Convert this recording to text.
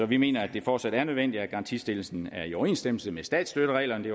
vi mener at det fortsat er nødvendigt at garantistillelsen er i overensstemmelse med statsstøttereglerne det